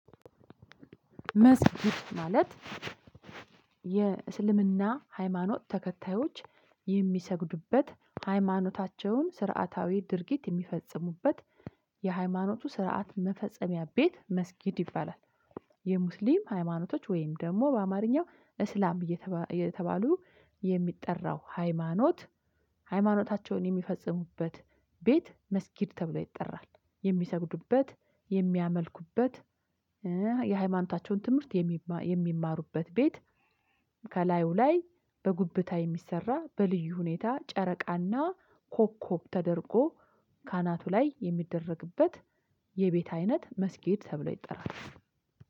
መስጊድ ማለት የእስልምና ሃይማኖት ተከታዮች የሚሰግዱበት ሃይማኖታቸውን ስርዓታዊ ድርጊት የሚፈጽሙበት የሃይማኖቱ ስርዓት መፈጸሚያ ቤት መስጊድ ይባላል። የሙስሊም ሃይማኖቶች ወይም ደግሞ በአማርኛው እስላም የተባሉ የሚጠራው ሃይማኖት ሃይማኖታቸውን የሚፈጽሙበት ቤት መስጊድ ተብሎ ይጠራል። የሚሰግዱበት፣ የሚያመልኩበት፣ የሃይማኖታቸውን ትምህርት የሚማሩበት ቤት ከላዩ ላይ በጉብታ የሚሰራ በልዩ ሁኔታ ጨረቃና ኮኮብ ተደርጎ ካናቱ ላይ የሚደረግበት የቤት አይነት መስጊድ ተብሎ ይጠራል።